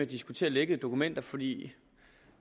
diskutere lækkede dokumenter fordi